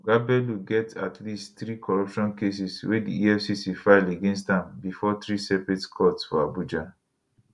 oga bello get at least three corruption cases wey di efcc file against am bifor three separate courts for abuja